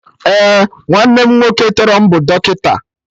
Ee, nwanne m nwoke tọrọ m bụ dọkịta